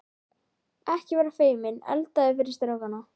Ekki vera feiminn, eldaðu fyrir strákana.